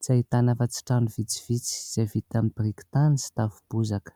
Tsy ahitana afa-tsy trano vitsivitsy izay vita amin'ny biriky tany sy tafo bozaka.